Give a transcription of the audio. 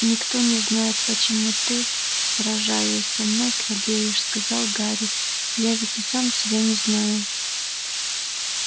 никто не знает почему ты сражаясь со мной слабеешь сказал гарри я ведь и сам себя не знаю